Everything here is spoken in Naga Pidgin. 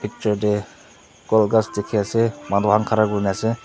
picture tu gol kas diki ase manu kan ghara kurina ase.